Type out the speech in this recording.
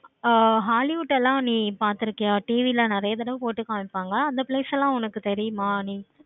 ஆஹ் hollywood எல்லாம் நீ பார்த்துருக்கியா TV ல நெறைய தடவ போட்டு காமிப்பாங்க. அந்த place எல்லாம் உனக்கு தெரியுமா நீ